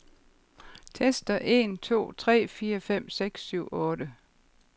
Tester en to tre fire fem seks syv otte.